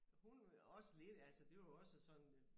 Hun også lidt altså det jo også sådan øh